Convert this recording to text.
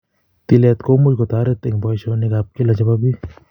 Tilet komuch kotaret eng poishonik ap kila chebo piik